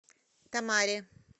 томари